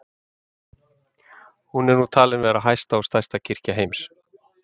Hún er nú talin vera hæsta og stærsta kirkja heims.